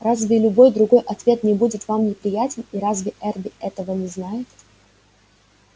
разве любой другой ответ не будет нам неприятен и разве эрби этого не знает